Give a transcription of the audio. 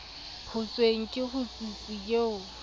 ho thweng ke hotsitsi eo